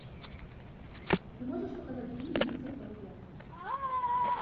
ты можешь показать фильм лица в толпе